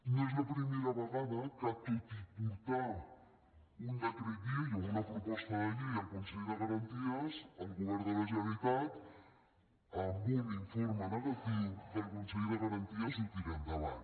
no és la primera vegada que tot i portar un decret llei o una proposta de llei al consell de garanties el govern de la generalitat amb un informe negatiu del consell de garanties ho tira endavant